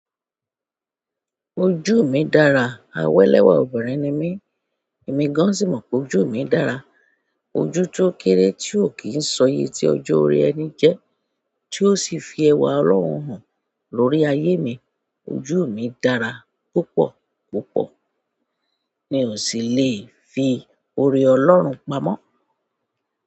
Ojú mi dára, awé lẹ́wà obìnrin ni mí, èmi gan sìmọ̀ pé ojú mi dára, ojú tó kéré tí ò kí ń ṣoye ti ọjọ́ orí ẹni jẹ, tí ó sì fi ẹwà Ọlọ́run hàn lórí ayé mi, ojú mi dára púpọ̀ púpọ̀, mi ò sì lè fi ọ̀rẹ́ Ọlọ́run pamọ́.